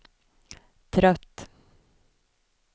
trött